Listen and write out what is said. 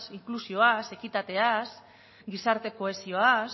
inklusioaz ekitateaz gizarte kohesioaz